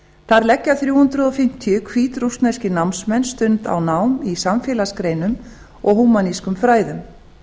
þar leggja þrjú hundruð fimmtíu hvítrússneskir námsmenn stund á nám í samfélagsgreinum og húmanískum fræðum á